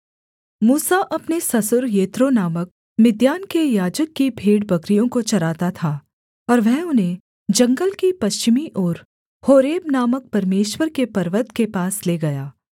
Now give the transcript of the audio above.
मूसा अपने ससुर यित्रो नामक मिद्यान के याजक की भेड़बकरियों को चराता था और वह उन्हें जंगल की पश्चिमी ओर होरेब नामक परमेश्वर के पर्वत के पास ले गया